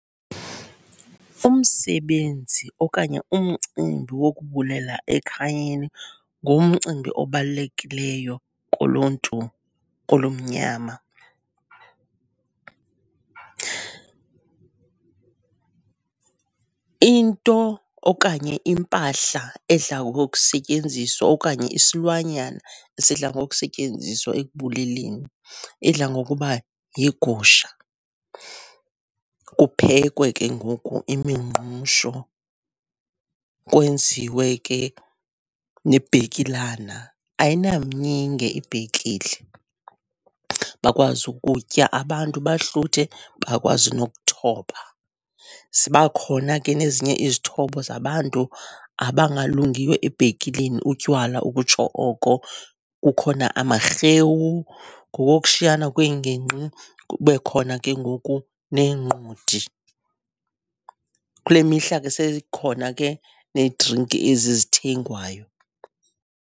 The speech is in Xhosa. Umsebenzi okanye umcimbi wokubulela ekhayeni ngumcimbi obalulekileyo kuluntu olumnyama. Into okanye impahla edla ngokusetyenziswa okanye isilwanyana esidla ngokusetyenziswa ekubuleleni idla ngokuba yigusha, kuphekwe ke ngoku imingqusho, kwenziwe ke nebhekilana. Ayinamnyinge ibhekile, bakwazi ukutya abantu bahluthe, bakwazi nokuthoba. Ziba khona ke nezinye izithobo zabantu abangalungiyo ebhekileni, utywala ukutsho oko. Kukhona amarhewu ngokokushiyana kweengingqi, kube khona ke ngoku neenqodi. Kule mihla ke seyikhona ke needrinki ezi zithengwayo.